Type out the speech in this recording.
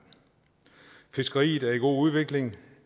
fiskeriet er i god udvikling